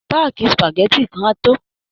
Páàkì spageti kan á tó